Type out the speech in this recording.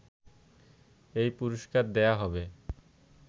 এই পুরস্কার দেয়া হবে